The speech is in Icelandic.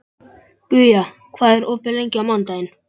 Guja, hvað er opið lengi á mánudaginn?